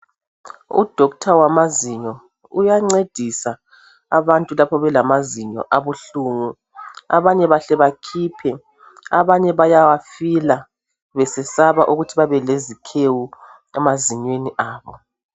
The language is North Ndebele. Udokotela wamazinyo uyancedisa lapho abantu belamazinyo abuhlungu, abanye bahle bakhiphe, abanye bayawafila besesaba ukuthi babelezikhewu emazinyweni abo.